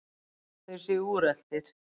Þeir séu úreltir.